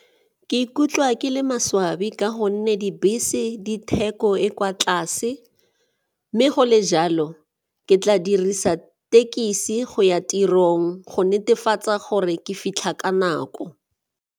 Ke ikutlwa ke le maswabi ka gonne dibese di theko e kwa tlase mme go le jalo ke tla dirisa tekesi go ya tirong go netefatsa gore ke fitlha ka nako.